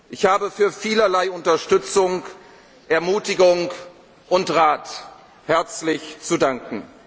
lassen. Ich habe für vielerlei Unterstützung, Ermutigung und Rat herzlich zu